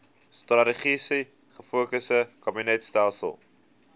strategies gefokusde kabinetstelsel